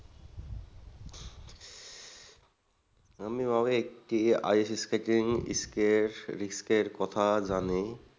আমি অনেক ice-skate এর কথা জানি।